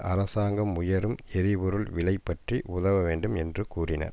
அரசாங்கம் உயரும் எரிபொருள் விலை பற்றி உதவ வேண்டும் என்று கோரினர்